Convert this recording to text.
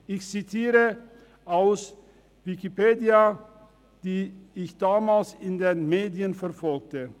Ich zitiere aus Wikipedia, wie ich es damals in den Medien verfolgte: